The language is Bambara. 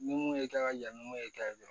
Ni mun ye kɛ ka ɲa ni mun ye kɛ